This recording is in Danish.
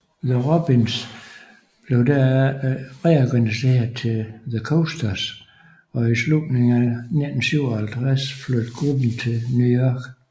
The Robins blev herefter reorganiseret til The Coasters og i slutningen af 1957 flyttede gruppen til New York